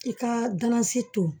I ka galasi to